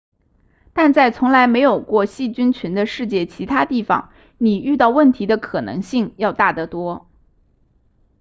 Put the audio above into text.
但在从来没有过细菌群的世界其他地方你遇到问题的可能性要大得多